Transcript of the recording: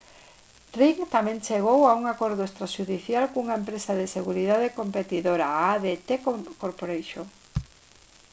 ring tamén chegou a un acordo extraxudicial cunha empresa de seguridade competidora a adt corporation